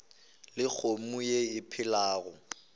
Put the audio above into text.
le kgomo ye e phelago